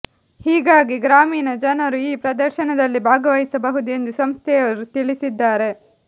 ಹೀಗಾಗಿ ಗ್ರಾಮೀಣ ಜನರು ಈ ಪ್ರದರ್ಶನದಲ್ಲಿ ಭಾಗವಹಿಸಬಹುದು ಎಂದು ಸಂಸ್ಥೆಯವರು ತಿಳಿಸಿದ್ದಾರೆ